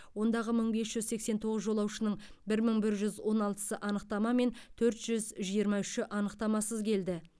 ондағы мың бес жүз сексен тоғыз жолаушының бір мың бір жүз он алтысы анықтамамен төрт жүз жиырма үші анықтамасыз келді